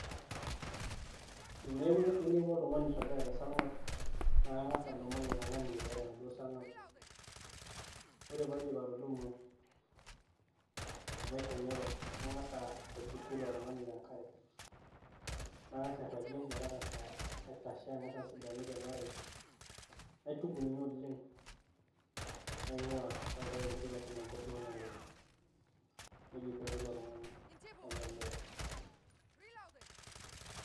Teneeku ainepua oltung'ani oirragita te sarng'ab naa akang'as adumu ilo tung'ani aitayu tenaduo sarng'ab, ore paa aidip atudumu amu etemere, nag'asa aituku ilo te enkare, nang'as airragie metang'asa aitashe ang'as asidanu te emerai, naituku ninye oleng' naing'uaa nautaki enkoitoi meshomo enkop duo naloito, neija ikuni ilo tung'ani otemere.